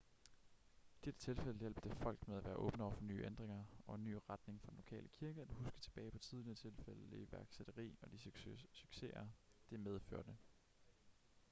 i dette tilfælde hjalp det folk med at være åbne over for nye ændringer og en ny retning for den lokale kirke at huske tilbage på tidligere tilfælde af iværksætteri og de succeser det medførte